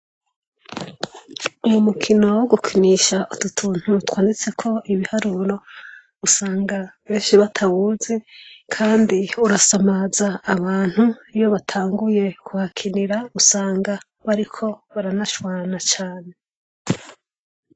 Uy'umukino wo gukinisha utu tuntu twanditseko ibiharuro, usanga benshi batawuzi Kandi urasamaza abantu. Iyo batanguye kuhakinira, usanga bariko baranashwana cane.